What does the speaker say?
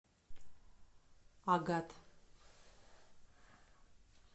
агат